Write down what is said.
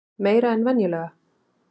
Meira en venjulega?